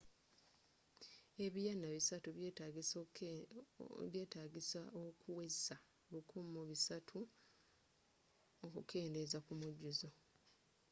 ebiyaana 300 byetaagisa okuweza1,300 okukendeza ku mujjuzo